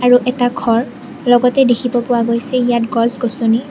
আৰু এটা ঘৰ লগতে দেখিব পোৱা গৈছে ইয়াত গছগছনি।